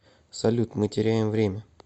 салют мы теряем время